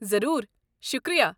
ضروٗر، شُکریہ۔